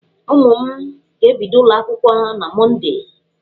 Ụmụ m ga-ebido ụlọ akwụkwọ na Mọndee.